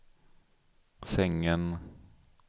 sängen